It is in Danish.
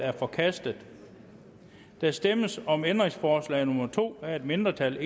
er forkastet der stemmes om ændringsforslag nummer to af et mindretal